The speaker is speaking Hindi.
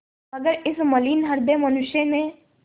मगर इस मलिन हृदय मनुष्य ने